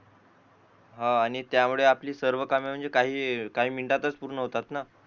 आणि त्यावेळे आपली सर्व कामे म्हणजे काही मिनिटातच पूर्ण होतात